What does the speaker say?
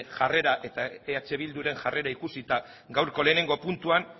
jarrera eta eh bilduren jarrera ikusita gaurko lehenengo puntuan